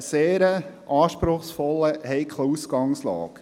Wir stehen vor einer anspruchsvollen, heiklen Ausgangslage.